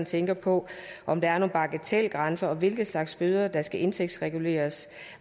tænker på om der er nogen bagatelgrænser og hvilke slags bøder der skal indtægtsreguleres